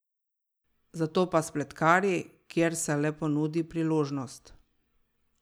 Zato pa spletkari, kjer se le ponudi priložnost.